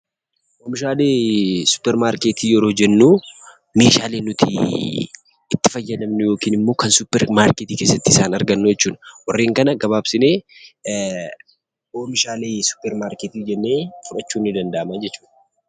Oomishaalee suuparmarkeetii yeroo jennuu meeshaalee nutii itti fayyadamnu yokanimmoo kan suparmarkeetii keessatti isaan argannu jechuudha. Warreen kana gabaabsinee oomishaalee suuparmarkeetii jennee fudhachuun nii danda'amaa jechuudha.